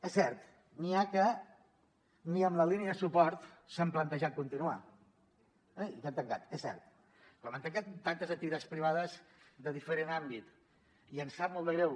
és cert n’hi ha que ni amb la línia de suport s’han plantejat continuar eh i que han tancat és cert com han tancat tantes activitats privades de diferent àmbit i ens sap molt de greu